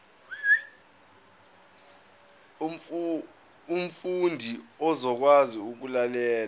umfundi uzokwazi ukulalela